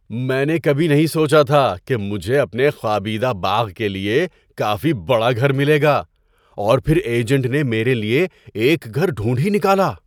میں نے کبھی نہیں سوچا تھا کہ مجھے اپنے خوابیدہ باغ کے لیے کافی بڑا گھر ملے گا، اور پھر ایجنٹ نے میرے لیے ایک گھر ڈھونڈھ ہی نکالا!